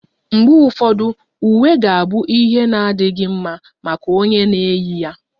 Mgbe ụfọdụ, uwe ga-abụ ihe na-adịghị mma maka onye na-eyi ya